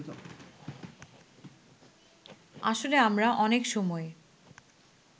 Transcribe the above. আসলে আমরা অনেক সময়ে